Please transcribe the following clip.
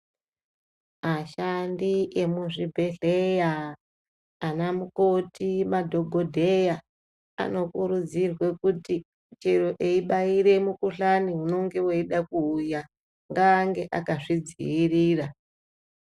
Ashandi emuzvibhedhleya anamukoti, madhokodheya anokurudzirwe kuti chero eibaire mukhuhlani unonge weida kuuya ngaaenge akazvidziirira.